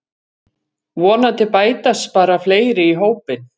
Vonandi bætast bara fleiri í hópinn